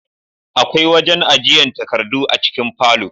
Akwai wajen ajiyan takardu a cikin falo